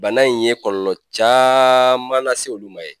Bana in ye kɔlɔlɔ caman lase olu ma yen